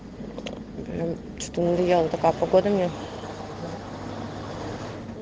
прям что-то надоела такая погода мне